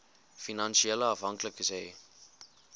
finansiële afhanklikes hê